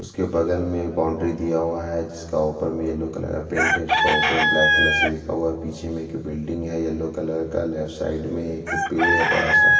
उसके बगल में बाउंड्री दिया हुआ है जिसका ऊपर में येलो कलर का पेंट है उसका ऊपर में ब्लैक कलर से लिखा हुआ है पीछे में एक बिल्डिंग है येलो कलर का लेफ्ट साइड में एक पेड़ है बड़ा सा --